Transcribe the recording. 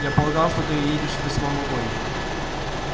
я полагал что ты едешь в восьмом вагоне